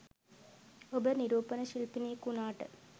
ඔබ නිරූපණ ශිල්පිණියක් වුණාට